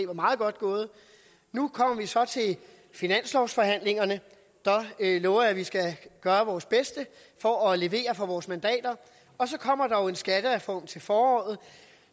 var meget godt gået nu kommer vi så til finanslovsforhandlingerne og jeg lover at vi skal gøre vores bedste for at levere for vores mandater og så kommer der jo en skattereform til foråret